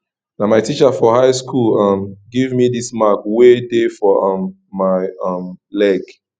na my teacher for high school um give me dis mark wey dey for um my um leg